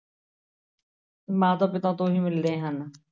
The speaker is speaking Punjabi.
ਮਾਤਾ ਪਿਤਾ ਤੋਂ ਹੀ ਮਿਲਦੇ ਹਨ।